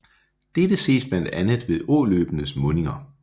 Dette ses blandt andet ved åløbenes mundinger